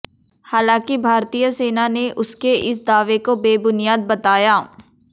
हालांकि भारतीय सेना ने उसके इस दावे को बेबुनियाद बताया